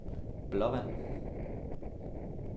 Blåvand